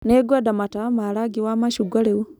Nĩngwenda matawa ma rangi wa macungwa rĩu.